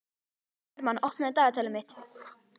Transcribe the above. Hermann, opnaðu dagatalið mitt.